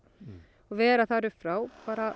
og vera þar upp frá